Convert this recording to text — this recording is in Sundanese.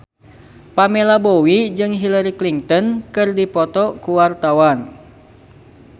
Pamela Bowie jeung Hillary Clinton keur dipoto ku wartawan